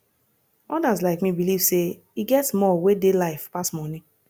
odas like me believe sey e get more wey dey life pass money